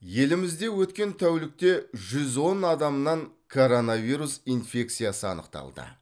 елімізде өткен тәулікте жүз он адамнан коронавирус инфекциясы анықталды